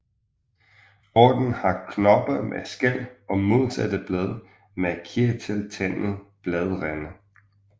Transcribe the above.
Ordenen har knopper med skæl og modsatte blade med kirteltandede bladrande